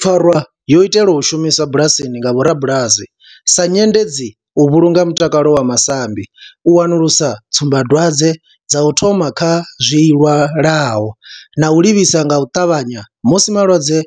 Pfarwa yo itelwa u shumiswa bulasini nga vhorabulasi sa nyendedzi u vhulunga mutakalo wa masambi, u wanulusa tsumbadwadzwe dza u thoma kha zwilwalaho na u livhisa nga u tavhanya musi malwadze